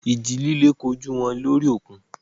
Ìjì líle kojú wọn lórí òkun.